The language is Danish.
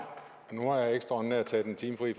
nu har jeg ekstraordinært taget en time fri